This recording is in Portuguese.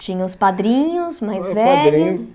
Tinha os padrinhos mais velhos?